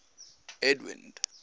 edwind